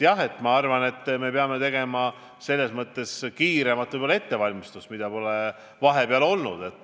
Jah, ma arvan, et me peame selles osas tegema kiiremat ettevalmistust, mida pole vahepeal olnud.